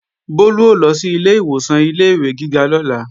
Bólú ó lọ sílé ìwòsàn ilé-ìwé gíga lọ́la